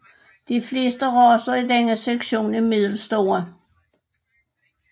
De fleste racer i denne sektion er middelstore